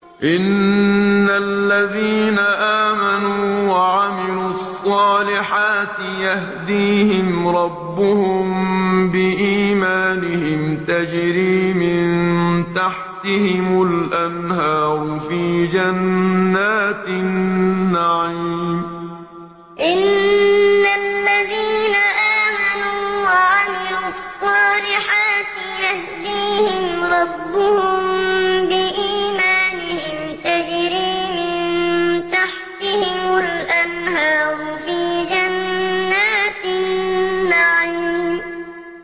إِنَّ الَّذِينَ آمَنُوا وَعَمِلُوا الصَّالِحَاتِ يَهْدِيهِمْ رَبُّهُم بِإِيمَانِهِمْ ۖ تَجْرِي مِن تَحْتِهِمُ الْأَنْهَارُ فِي جَنَّاتِ النَّعِيمِ إِنَّ الَّذِينَ آمَنُوا وَعَمِلُوا الصَّالِحَاتِ يَهْدِيهِمْ رَبُّهُم بِإِيمَانِهِمْ ۖ تَجْرِي مِن تَحْتِهِمُ الْأَنْهَارُ فِي جَنَّاتِ النَّعِيمِ